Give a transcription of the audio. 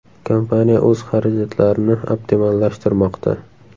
Kompaniya o‘z xarajatlarini optimallashtirmoqda.